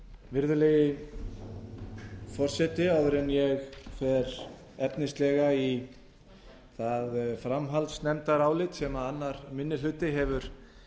virðulegi forseti áður en ég fer efnislega í það framhaldsnefndarálit sem annar minni hluti hefur